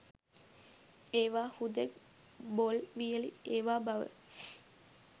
ඒවා හුදෙක් බොල් වියළි ඒවා බව